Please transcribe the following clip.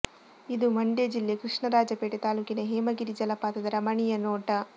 ಇದು ಮಂಡ್ಯ ಜಿಲ್ಲೆ ಕೃಷ್ಣರಾಜಪೇಟೆ ತಾಲ್ಲೂಕಿನ ಹೇಮಗಿರಿ ಜಲಪಾತದ ರಮಣೀಯ ನೋಟ